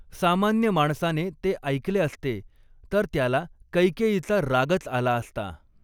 सामान्य माणसाने ते ऐकले असते तर त्याला कैकेयीचा रागच आला असता.